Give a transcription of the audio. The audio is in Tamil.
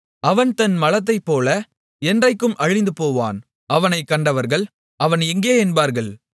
அவன் தன் மலத்தைப்போல என்றைக்கும் அழிந்துபோவான் அவனைக் கண்டவர்கள் அவன் எங்கே என்பார்கள்